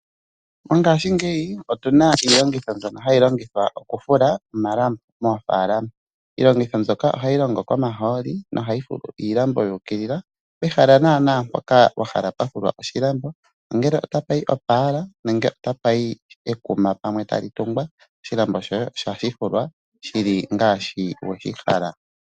Mongaashingeyi otuna Iilongitho mbyono hayi longithwa okufula omalambo moofaalama. Iilongitho mbyoka ohayi longo komahooli yo ohayi fulu iilambo yuukilila pehala naana mpoka wahala pwafulwa oshilambo ongele otapu yi oopala nenge tapa yi ekuma pamwe ta li tungwa oshilambo shoye osha fifulwa shili ngaashi weshi hala.